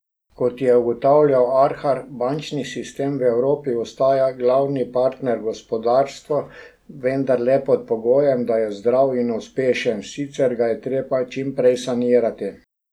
Kot je ugotavljal Arhar, bančni sistem v Evropi ostaja glavni partner gospodarstvu, vendar le pod pogojem, da je zdrav in uspešen, sicer ga je treba čim prej sanirati.